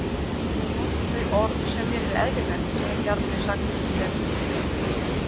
Ég nota þau orð sem mér er eðlilegt, sagði Bjarni sakleysislega.